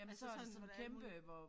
Er der så sådan alt muligt